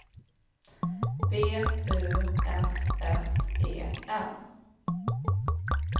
B U S S E N